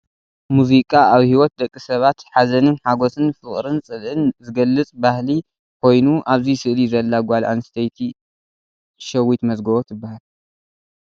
ሙዚቃ ኣብ ሂወት ደቂ ሰባት ሓዘን ሓጎስን ፣ ፍቅሪን ፅልኢን ዝገልፅ ባህሊ ኮይና ኣብዚ ስእሊ ዘላ ጓል ኣስተይቲ ሸዊት መዝገቦ ትባሃል።